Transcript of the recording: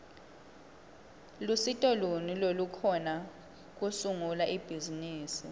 lusito luni lolukhona kusungula ibhizimisi